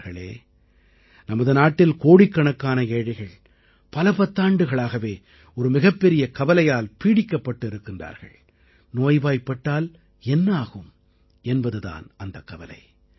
நண்பர்களே நமது நாட்டில் கோடிக்கணக்கான ஏழைகள் பல பத்தாண்டுகளாகவே ஒரு மிகப்பெரிய கவலையால் பீடிக்கப்பட்டு இருக்கிறார்கள் நோய்வாய்ப்பட்டால் என்னவாகும் என்பது தான் அந்தக் கவலை